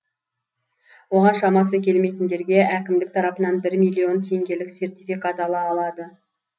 оған шамасы келмейтіндерге әкімдік тарапынан бір миллион теңгелік сертификат ала алады